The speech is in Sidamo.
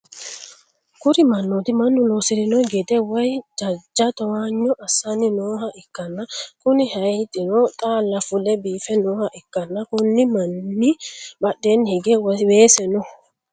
kuni mannooti mannu loosi'rino gide woy jajja towaanyo assanni nooha ikkanna, kuni hayiixino xaala fule biife nooha ikkanna, konni manni badheenni hige weese no.